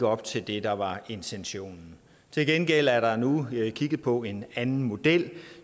op til det der var intentionen til gengæld er der nu kigget på en anden model